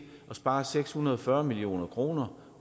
at spare seks hundrede og fyrre million kroner